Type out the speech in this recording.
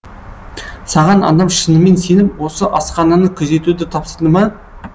саған адам шынымен сеніп осы асхананы күзетуді тапсырды ма